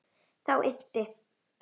Þá innti